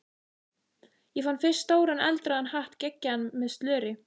Ég fann fyrst stóran eldrauðan hatt geggjaðan, með slöri.